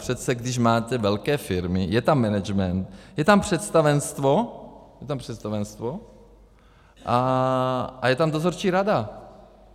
Přece když máte velké firmy, je tam management, je tam představenstvo a je tam dozorčí rada.